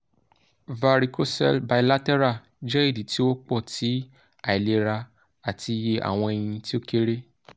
varicocele bilateral jẹ idi ti o wọpọ ti ailera ati iye awọn ẹyin ti o kere